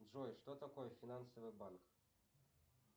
джой что такое финансовый банк